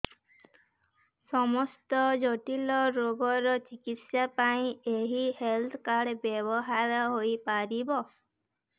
ସମସ୍ତ ଜଟିଳ ରୋଗର ଚିକିତ୍ସା ପାଇଁ ଏହି ହେଲ୍ଥ କାର୍ଡ ବ୍ୟବହାର ହୋଇପାରିବ